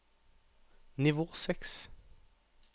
nivå seks